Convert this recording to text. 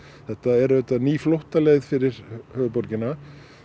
þetta er auðvitað ný flóttaleið fyrir höfuðborgina